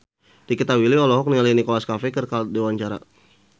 Nikita Willy olohok ningali Nicholas Cafe keur diwawancara